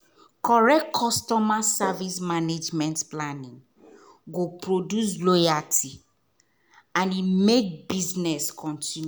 correct customer service management planning go produce loyalty and make business continue